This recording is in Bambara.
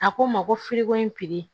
A ko n ma ko fili ko in piri